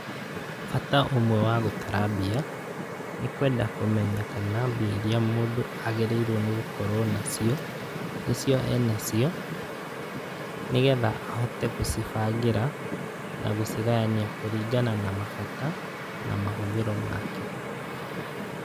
Bata ũmwe wa gũtara mbia, nĩ kwenda kũmenya kana mbia iria mũndũ agĩrĩirwo nĩ gũkorwo nacio nĩcio e nacio, nĩgetha ahote gũcibangĩra na gũcigayania kũringana na mabata na mahũthĩro make.